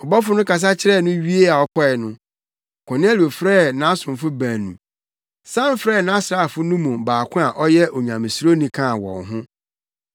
Ɔbɔfo no kasa kyerɛɛ no wiee a ɔkɔe no, Kornelio frɛɛ nʼasomfo baanu, san frɛɛ nʼasraafo no mu baako a ɔyɛ Onyamesuroni kaa wɔn ho,